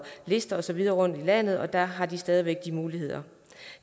lister og så videre rundt i landet og der har de stadig væk de muligheder